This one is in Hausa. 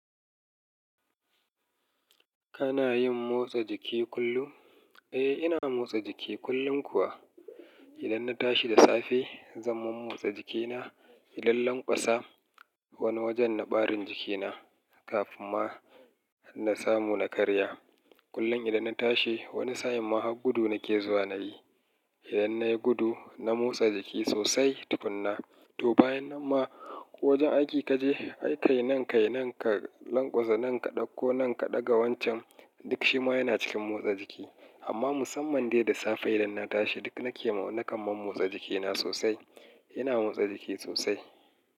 Kana yin motsa jiki kullum? Eh, ina motsa jiki kullum kuwa. Idan na tashi da safe, zan mammotsa jikina. Idan lanƙwasa wani wajen na ɓarin jikina kafin ma na samu na karya. Kullum idan na tashi wani sa'in ma ha gudu nake zuwa nayi. Idan nayi gudu, na motsa jiki sosai tufinna. To bayan nan ma wajen aiki kaje, ai kai nan kai nan ka lanƙwasa nan ka ɗauko nan ka ɗaga wancan duk shi ma yana cikin motsa jiki. Amma musamman dai da safe idan na tashi duk nake na kaman motsa jikina sosai. Ina motsa jiki sosai.